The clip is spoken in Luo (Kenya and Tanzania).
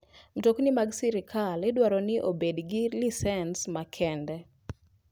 Mtokni mag sikal idwaro ni obeg gi lisens makende.